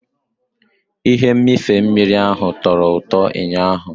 Ihe mmịfe mmiri ahụ tọro ụtọ ụnyaahụ.